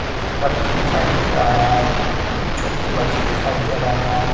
एक लड़की दिखाई दे रहा है एक छोटी बच्ची दिखाई दे रहा है।